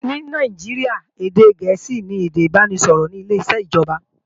Ní Nàìjíríà, èdè gẹ̀ẹ́sì ni èdè ìbáraẹnisọ̀rọ̀ ní ileṣẹ́ ìjọba